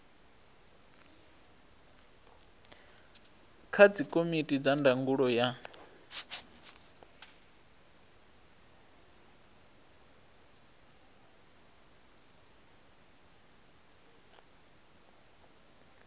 kha dzikomiti dza ndangulo ya